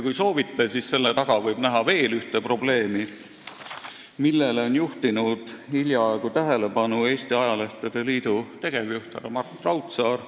Kui soovite, siis võib selle taga näha veel ühte probleemi, millele on juhtinud hiljaaegu tähelepanu Eesti Ajalehtede Liidu tegevjuht härra Mart Raudsaar.